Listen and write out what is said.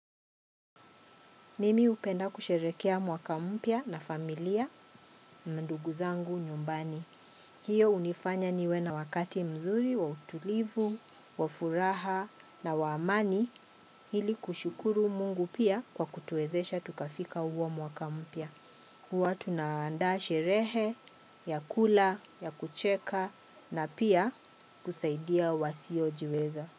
Mimi hupenda kusherekea mwaka mpya na familia na ndugu zangu nyumbani. Hiyo hunifanya niwe na wakati mzuri wa utulivu, wa furaha na waamani ili kushukuru mungu pia kwa kutuwezesha tukafika huo mwaka mpya. Huwa tunaanda sherehe, yakula, yakucheka na pia kusaidia wasiojiweza.